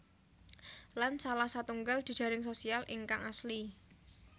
Lan salah satunggal jejaring sosial ingkang asli